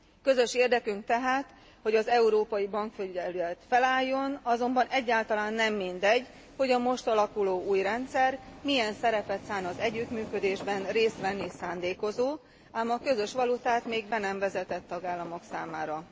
Közös érdekünk tehát, hogy az európai bankfelügyelet felálljon, azonban egyáltalán nem mindegy, hogy a most alakuló új rendszer milyen szerepet szán az együttműködésben részt venni szándékozó, ám a közös valutát még be nem vezetett tagállamok számára.